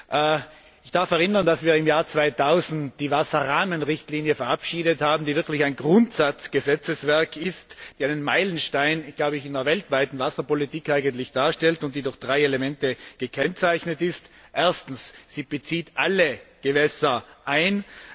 Ich darf daran erinnern, dass wir im Jahr 2000 die Wasserrahmenrichtlinie verabschiedet haben, die wirklich ein Grundsatz Gesetzeswerk ist, die einen Meilenstein in der weltweiten Wasserpolitik darstellt und die durch drei Elemente gekennzeichnet ist. Erstens Sie bezieht alle Gewässer ein.